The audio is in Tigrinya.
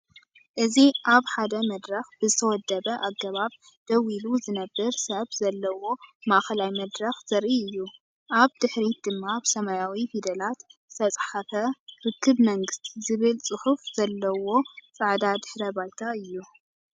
እዚ ኣብ ሓደ መድረኽ ብዝተወደበ ኣገባብ ደው ኢሉ ዝነብር ሰብ ዘለዎ ማእከላይ መድረኽ ዘርኢ እዩ። ኣብ ድሕሪት ድማ ብሰማያዊ ፊደላት ዝተጻሕፈ “ርክብ መንግስቲ” ዝብል ጽሑፍ ዘለዎ ጻዕዳ ድሕረ ባይታ።